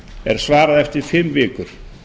er svarað eftir fimm vikur